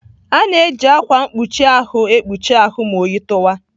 A na-eji ákwà mkpuchi ahụ ekpuchi ahụ ma oyi tụwa.